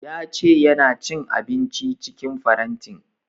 Ya ce ya na cin abinci cikin farantin